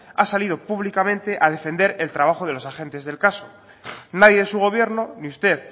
ha salido públicamente a defender el trabajo de los agentes del caso nadie de su gobierno ni usted